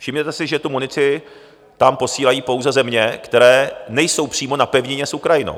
Všimněte si, že tu munici tam posílají pouze země, které nejsou přímo na pevnině s Ukrajinou.